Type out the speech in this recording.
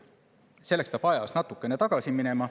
Selleks peab ajas natuke tagasi minema.